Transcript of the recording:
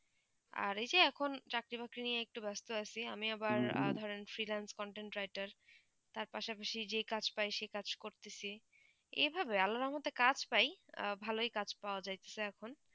আর এই যে এখন চাকরি বাকরি নিয়ে একটু ব্যস্ত আছি আমি আঁধার freelance content writer তার পাস পাশি যে লকাজ প্রায়ই সেই কাজ করতেছি এই ভালো আলোড়নগ তা কাজ পাই ভালো ই কাজ পৰা যাইতেছেন আখন